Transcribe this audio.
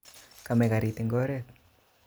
Kame garit eng oret